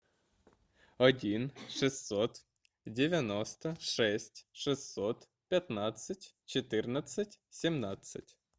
один шестьсот девяносто шесть шестьсот пятнадцать четырнадцать семнадцать